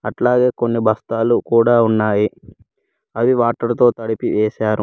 అట్లాగే కొన్ని బస్తాలు కూడా ఉన్నాయి అవి వాటర్ తో తడిపి వేశారు.